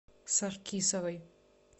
саркисовой